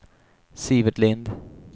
Sivert Lindh